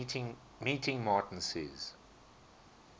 meeting martin says